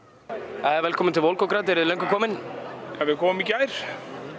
jæja velkomin til Volgograd eruð þið löngu komin við komum í gær